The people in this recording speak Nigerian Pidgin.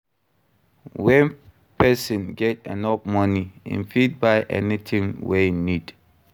When persin get enough money im fit buy anything wey im need